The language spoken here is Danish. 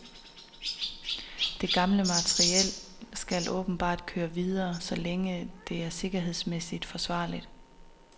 Det gamle materiel skal åbenbart køre videre, så længe det er sikkerhedsmæssigt forsvarligt.